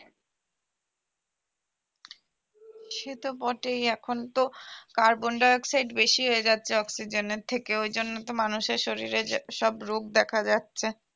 সে তো বটেই এখন তো carbon dioxide বেশি হয়ে যাচ্ছে oxygen এর থেকে ওই জন্য তো মানুষের শরীরে যে সব রোগ দেখা যাচ্ছে